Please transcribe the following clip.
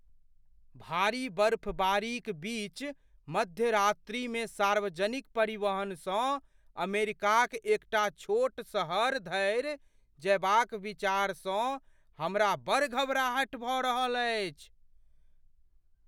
भारी बर्फबारीक बीच मध्यरात्रिमे सार्वजनिक परिवहनसँ अमेरिकाक एकटा छोट सहर धरि जयबाक विचारसँ हमरा बड़ घबराहटि भऽ रहल अछि।